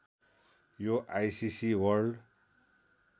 यो ICC world